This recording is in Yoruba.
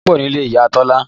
Ìdun pọ̀ nílé Ìyá Tọ́lá